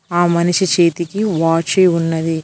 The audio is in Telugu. ఆ మనిషి చేతికి వచ్చి ఉన్నది.